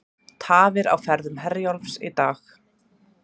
Tafir á ferðum Herjólfs í dag